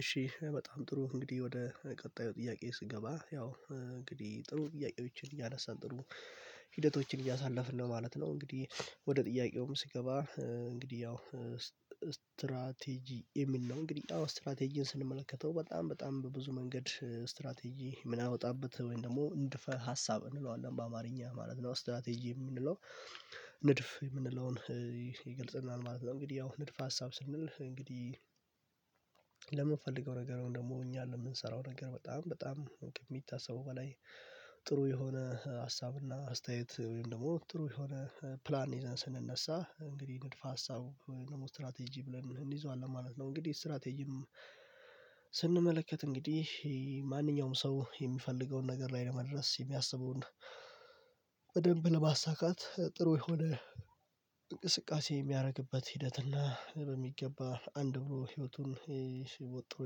እሺ በጣም ጥሩ እንግዲህ ወደ ቀጣዩ ጥያቄ ስገባ ያው እንግዲህ ጥሩ ጥያቄዎችን እያነሳን ጥሩ ሂደቶችን እያሳለፍን ማለት ነው እንግዲህ። ወደ ጥያቄውም ስገባ እንግዲህ ያው የሚል ነው። እንግዲህ አዎ ስትራቴጂን ስንመለከተው በጣም በጣም በብዙ መንገድ ስትራቴጂ ምንአወጣበት ወይም ደግሞ ንድፈ ሀሳብ እንለዋለን በአማርኛ ማለት ነው ስትራቴጂ የምንለው ንድፍ የምንለውን ይገልጽልናል ማለት ነው። እንግዲህ ያው ንድፍ ሀሳብ ስንል እንግዲህ ለምንፈልገው ነገር ደግሞ እኛ ለምንሰራው ነገር በጣም በጣም ከሚታሰበው በላይ ጥሩ የሆነ ሀሳብና አስተያየት ወይም ደግሞ ጥሩ የሆነ ፕላን ይዘን ስንነሳ እንግዲህ ንድፍ ሀሳብ ወይም ደግሞ ስትራቴጂ ብለን እንይዘዋለን ማለት ነው። እንግዲህ ስትራቴጂም ስንመለከት እንግዲህ ማንኛውም ሰው የሚፈልገውን ነገር ላይ ለመድረስ የሚያስበውን በደንብ ለማሳካት ጥሩ የሆነ እንቅስቃሴ የሚያደርግበት ሂደት እና በሚገባ አንድ ብሎ ህይወቱን ወጥሮ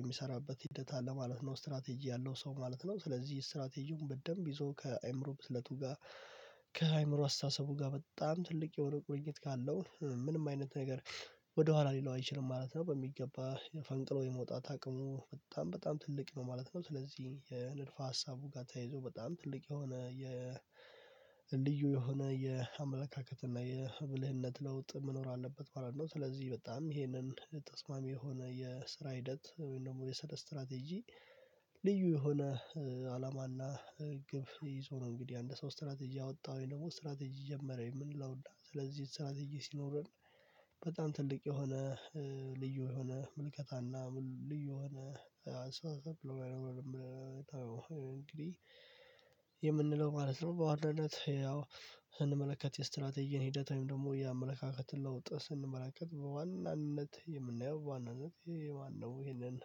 የሚሰራበት ሂደት አለ ማለት ነው። ስትራቴጂ ያለው ሰው ማለት ነው። ስለዚህ ስትራቴጂውን በደንብ ይዞ ከአእምሮ ብስለቱ ጋር ከአእምሮ አስተሳሰቡ ጋር በጣም ትልቅ የሆነ ቁርኝት ካለው ምንም አይነት ነገር ወደኋላ ሊለው አይችልም ማለት ነው። በሚገባ ፈንቅሎ የመውጣት አቅሙ በጣም በጣም ትልቅ ነው ማለት ነው። ስለዚህ የንደፍ ሀሳቡ ጋር ተያይዞ በጣም ትልቅ የሆነ የ ልዩ የሆነ የአመለካከት እና የብልህነት ለውጥ መኖር አለበት ማለት ነው። ስለዚህ በጣም ይሄንን ተስማሚ የሆነ የስራ ሂደት ወይም ደግሞ የሰራ ስትራቴጂ ልዩ የሆነ አላማና ግብ ይዞ ነው እንግዲህ አንድ ሰው ስትራቴጂ ያወጣው ደግሞ ስትራቴጂ ጀመረ የምንለውና ስለዚህ ስትራቴጂ ሲኖረን በጣም ትልቅ የሆነ ልዩ የሆነ ምልከታና ልዩ የሆነ እንግዲህ የምንለው ማለት ነው። በዋናነት ያው ስንመለከት የስትራቴጂን ሂደት ወይም ደግሞ የአመለካከትን ለውጥ ስንመላከት በዋናነት የምናየው ዋናነት የማነው ይሄንን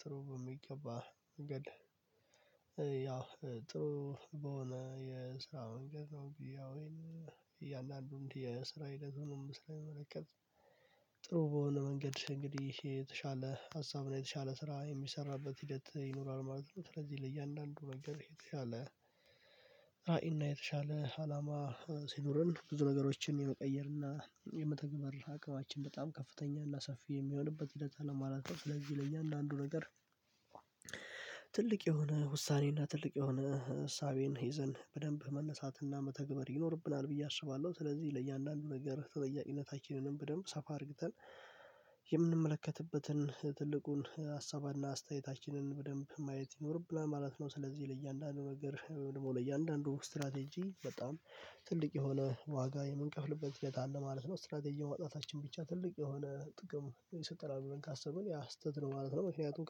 ጥሩ በሚገባ መንገድ ያው ጥሩ በሆነ የስራ መንገድ ነው ብዬ እያንዳንዱን የስራ ሂደቱንም ስንመለከት ጥሩ በሆነ መንገድ እንግዲህ የተሻለ ሀሳብ ላይ የተሻለ ስራ የሚሰራበት ሂደት ይኖራል ማለት ነው። ስለዚህ ለእያንዳንዱ ነገር የተሻለ አይና የተሻለ አላማ ሲኖረን ብዙ ነገሮችን የመቀየርና የመተግበር አቅማችን በጣም ከፍተኛ እና ሰፊ የሚሆንበት ሂደት አለ ማለት ነው። ስለዚህ ለእያንዳንዱ ነገር ትልቅ የሆነ ውሳኔና ትልቅ የሆነ እሳቤን ይዘን በደንብ መነሳትና መተግበር ይኖርብናል ብዬ አስባለሁ። ስለዚህ ለእያንዳንዱ ነገር ተጠያቂነታችንንም በደንብ ሰፋ አድርግተን የምንመለከትበትን ትልቁን ሀሳባና አስተያየታችንን በደንብ ማየት ይኖርብናል ማለት ነው። ስለዚህ ለእያንዳንዱ ነገር ደግሞ ለእያንዳንዱ ስትራቴጂ በጣም ትልቅ የሆነ ዋጋ የምንከፍልበት ሂደት አለ ማለት ነው። ስትራቴጂው ማውጣታችን ብቻ ትልቅ የሆነ ጥቅም ይሰጠናል ብለን ካሰብን ያ ስተት ነው ማለት ነው። ምክንያቱም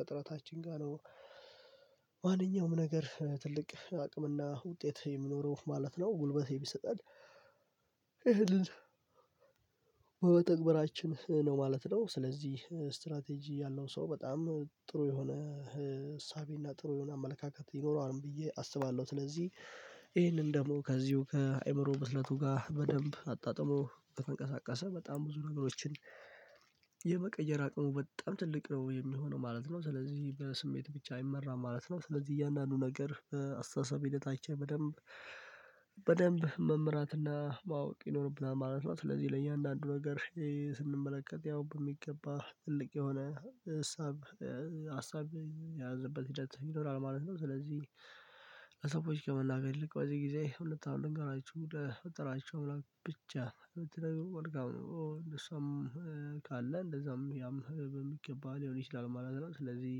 ከጥረታችን ጋር ነው ማንኛውም ነገር ትልቅ አቅምና ውጤት የሚኖረው ማለት ነው ጉልበት የሚሰጠን በመተግበራችን ነው ማለት ነው። ስለዚህ ስትራቴጂ ያለው ሰው በጣም ጥሩ የሆነ እሳቤ እና ጥሩ የሆነ አመለካከት ይኖረዋል ብዬ አስባለሁ። ስለዚህ ይህንን ደግሞ ከዚሁ ከአይምሮ ብስለቱ ጋር በደንብ አጣጥሞ ከተንቀሳቀሰ በጣም ብዙ ነገሮችን የመቀየር አቅሙ በጣም ትልቅ ነው የሚሆነው ማለት ነው። ስለዚህ በስሜት ብቻ አይመራም ማለት ነው። ስለዚህ እያንዳንዱ ነገር አስተሳሰብ ሂደት አይቼ በደንብ በደንብ መምራትና እና ማወቅ ይኖርብናል ማለት ነው። ስለዚህ ለእያንዳንዱ ነገር ስንመለከት ያው በሚገባ ትልቅ የሆነ ሀሳብ የያዝንበት ሂደት ይኖራል ማለት ነው። ስለዚህ ከመናገር ይልቅ በዚህ ጊዜ እውነታውን ልንገራቹ ወደ ፈጠራችሁ አምላክ ብቻ ብትነግሩ መልካም ነው። ካለ እንደዛም ያም በሚገባ ሊሆን ይችላል ማለት ነው። ስለዚህ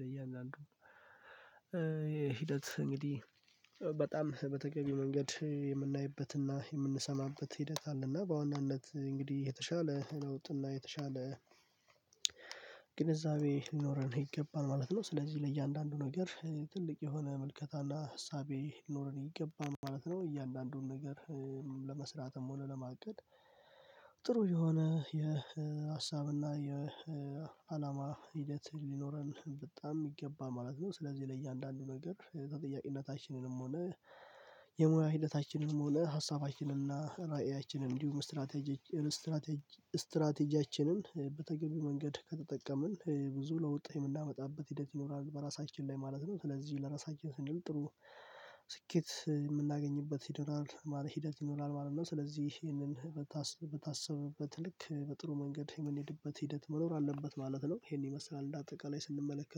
ለእያንዳንዱ ለእያንዳንዱ የሂደት እንግዲህ በጣም በተገቢ መንገድ የምናይበትና የምንሰማበት ሂደት አለና በዋናነት እንግዲህ የተሻለ ለውጥና የተሻለ ግንዛቤ ሊኖረን ይገባል ማለት ነው። ስለዚህ ለእያንዳንዱ ነገር ትልቅ የሆነ ምልከታና እሳቤ ሊኖረን ይገባል ማለት ነው። እያንዳንዱን ነገር ለመስራትም ሆነ ለማቀድ ጥሩ የሆነ የሀሳብና የአላማ ሂደት ሊኖረን በጣም የሚገባ ማለት ነው። ስለዚህ ለእያንዳንዱ ነገር ተጠያቂነታችንንም ሆነ የሙያ ሂደታችንንም ሆነ ሀሳባችንን እና ራእያችንን እንዲሁም ስትራቴጂ ስትራቴጂ ስትራቴጂያችንን በተገቢ መንገድ ከተጠቀምን ብዙ ለውጥ የምናመጣበት ሂደት ይኖራል። በራሳችን ላይ ማለት ነው። ስለዚህ ለራሳችን ስንል ጥሩ ስኬት የምናገኝበት ሂደት ማለት ይኖራል ማለት ነው። ስለዚህ ይሄንን በታሰበበት ልክ በጥሩ መንገድ የምንሄድበት ሂደት መኖር አለበት ማለት ነው። ይሄን ይመስላል እንደ አጠቃላይ ስንመለከት